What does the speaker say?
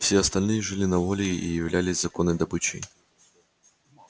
все остальные жили на воле и являлись законной добычей